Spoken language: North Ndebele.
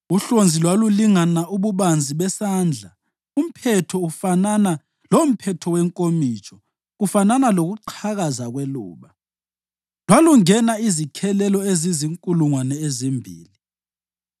Uhlonzi lwalulingana ububanzi besandla, umphetho ufanana lomphetho wenkomitsho, kufanana lokuqhakaza kweluba. Lwalungena izikhelelo ezizinkulungwane ezimbili.